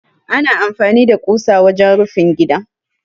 Ana amfani da ƙusa wajen rufin gida.